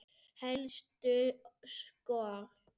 Helstu skor